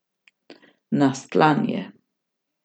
Nastlan je.